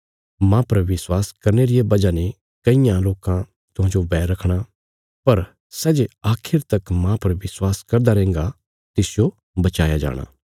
माह पर विश्वास करने रिया बजह ने कईयां लोकां तुहांते बैर रखणा पर सै जे आखिर तक माह पर विश्वास करदा रैहन्गा तिसजो बचाया जाणा